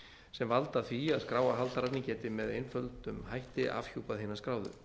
sem valda því að skráarhaldararnir geti með einföldum hætti afhjúpað hina skráðu